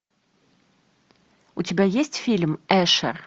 у тебя есть фильм эшер